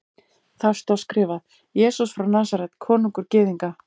Þar stóð skrifað: Jesús frá Nasaret, konungur Gyðinga.